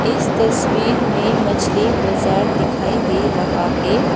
इस तस्वीर मे मछली बाजार दिखाई दे रहा है।